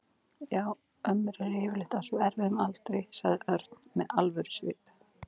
Já, ömmur eru yfirleitt á svo erfiðum aldri sagði Örn með alvörusvip.